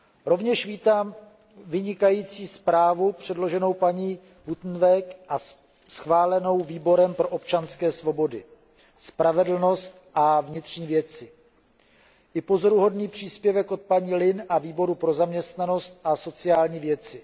Rovněž vítám vynikající zprávu předloženou paní Buitenweg a schválenou Výborem pro občanské svobody, spravedlnost a vnitřní věci i pozoruhodný příspěvek od paní Lynne a Výboru pro zaměstnanost a sociální věci.